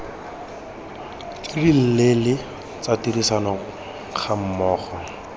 tse dileele tsa tirisano gammogo